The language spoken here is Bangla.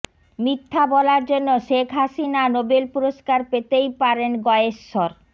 মিথ্যা বলার জন্য শেখ হাসিনা নোবেল পুরস্কার পেতেই পারেন গয়েশ্বর